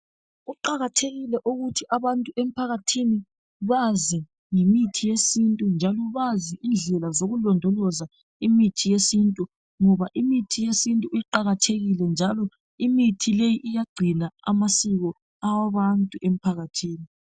Kuqakathekile ukuthi abantu emphakathini bazi ngemithi yesintu, njalo bazi indlela zokulondoloza imithi yesintu. Ngoba imithi yesintu iqakathekile njalo imithi leyi iyagcina amasiko awabantu emphakathini.